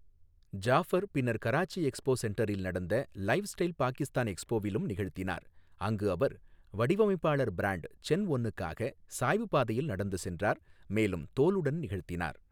ஜாஃபர் பின்னர் கராச்சி எக்ஸ்போ சென்டரில் நடந்த லைஃப்ஸ்டைல் பாகிஸ்தான் எக்ஸ்போவிலும் நிகழ்த்தினார், அங்கு அவர் வடிவமைப்பாளர் பிராண்ட் சென்ஒனுக்காக சாய்வுப்பாதையில் நடந்து சென்றார், மேலும் தோலுடன் நிகழ்த்தினார்.